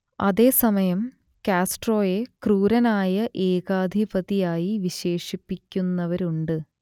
അതേ സമയം കാസ്ട്രോയെ ക്രൂരനായ ഏകാധിപതിയായി വിശേഷിപ്പിക്കുന്നവരുമുണ്ട്